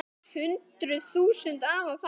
Hundruð þúsunda hafa fallið.